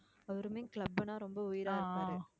அவருமே club ன்னா ரொம்ப உயிரா இருப்பாரு